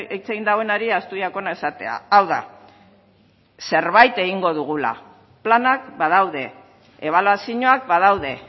hitz egin duenari ahaztu jakona esatea hau da zerbait egingo dugula planak badaude ebaluazioak badaude